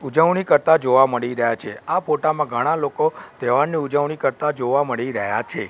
ઉજવણી કરતા જોવા મળી રહ્યા છે આ ફોટા માં ઘણા લોકો તહેવારની ઉજવણી કરતા જોવા મળી રહ્યા છે.